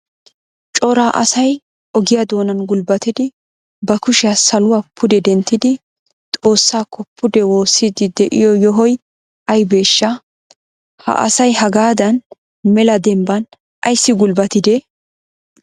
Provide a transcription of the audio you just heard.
Cora asay ogiya doonan gulbbatidi ba kushiya saluwa pude denttidi Xoossakko pude woossidi de'iyo yohoy aybbeshsha? Ha asay hagadan mela dembban ayssi gulbbatide?